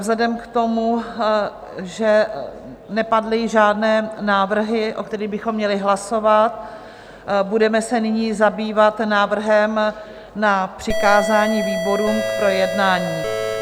Vzhledem k tomu, že nepadly žádné návrhy, o kterých bychom měli hlasovat, budeme se nyní zabývat návrhem na přikázání výborům k projednání.